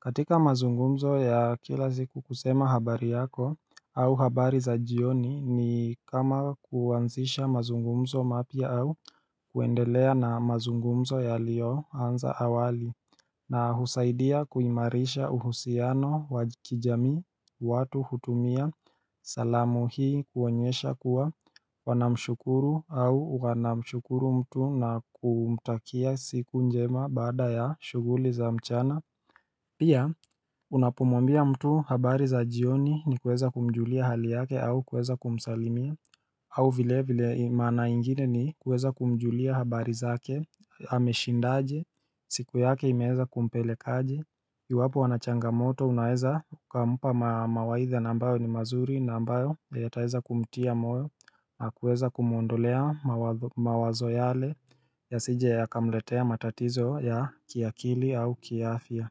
katika mazungumzo ya kila siku kusema habari yako au habari za jioni ni kama kuanzisha mazungumzo mapya au kuendelea na mazungumzo yaliyoanza awali na husaidia kuimarisha uhusiano wa kijamii watu hutumia salamu hii kuonyesha kuwa wanamshukuru au wanamshukuru mtu na kumtakia siku njema baada ya shughuli za mchana Pia unapomwambia mtu habari za jioni ni kuweza kumjulia hali yake au kuweza kumsalimia au vile vile maana ingine ni kuweza kumjulia habari zake, ameshindaje, siku yake imeweza kumpeleka aje Iwapo ana changamoto unaweza ukampa mawaidha na ambayo ni mazuri na ambayo yataweza kumtia moyo na kueza kumuondolea mawazo yale yasije yakamletea matatizo ya kiakili au kiafya.